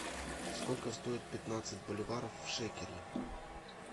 сколько стоит пятнадцать боливаров в шекеле